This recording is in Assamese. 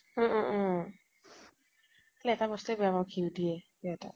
উম উম উম । খালি এটা বস্তুয়ে বেয়া পাওঁ, ঘিউ দিয়ে সিহঁতৰ।